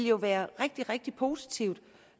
jo være rigtig rigtig positivt